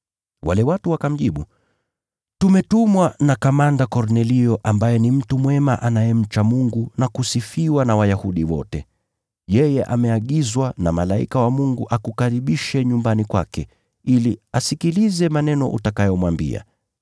Wale watu wakamjibu, “Tumetumwa na Kornelio yule jemadari. Yeye ni mtu mwema anayemcha Mungu, na anaheshimiwa na Wayahudi wote. Yeye ameagizwa na malaika mtakatifu akukaribishe nyumbani kwake, ili asikilize maneno utakayomwambia.”